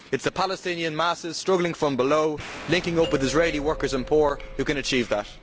It is the Palestinian masses struggling from below, linking up with Israeli workers and poor, who can achieve that.